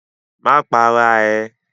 Ma para ẹ!